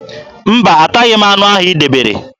Mba, ataghị anụ ahụ i debere.